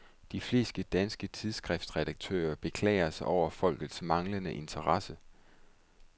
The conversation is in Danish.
De fleste danske tidsskriftredaktører beklager sig over folkets manglende interesse.